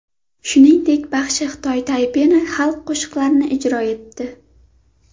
Shuningdek, baxshi Xitoy Taypeyi xalq qo‘shiqlarini ijro etdi.